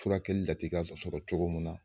Furakɛli latika sɔrɔ cogo mun na